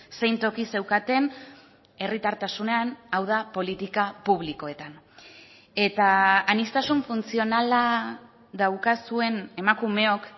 zein toki zeukaten herritartasunean hau da politika publikoetan eta aniztasun funtzionala daukazuen emakumeok